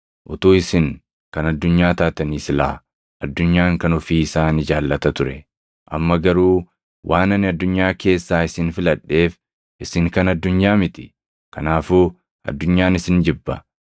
Utuu isin kan addunyaa taatanii silaa addunyaan kan ofii isaa ni jaallata ture. Amma garuu waan ani addunyaa keessaa isin filadheef isin kan addunyaa miti. Kanaafuu addunyaan isin jibba.